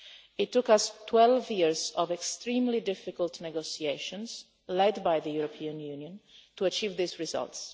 It took us 12 years of extremely difficult negotiations, led by the European Union, to achieve these results.